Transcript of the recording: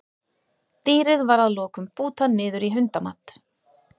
Dýrið var að lokum bútað niður í hundamat.